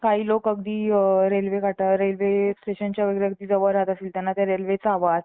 काही लोक अगदी railway काठावरील railway स्टेशनच्या वगैरे जवळ राहतात त्यांना त्या railway चा आवाज